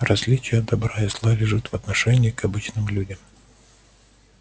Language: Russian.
различие добра и зла лежит в отношении к обычным людям